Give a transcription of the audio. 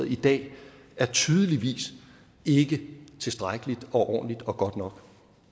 i dag er tydeligvis ikke tilstrækkelig ordentlig og god nok